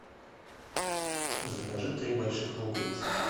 закажи три больших луковицы